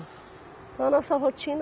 Então, a nossa rotina